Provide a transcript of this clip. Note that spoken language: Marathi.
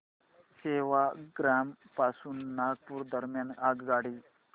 सेवाग्राम पासून नागपूर दरम्यान आगगाडी